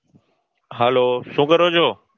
હાલો શું કરો છો